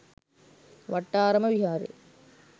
Wattarama Viharaya